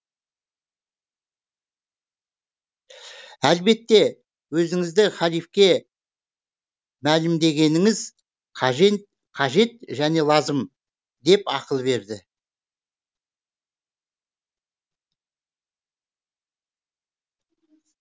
әлбетте өзіңізді халифке мәлімдегеніңіз қажет және лазым деп ақыл берді